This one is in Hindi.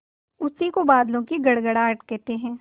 उसी को बादलों की गड़गड़ाहट कहते हैं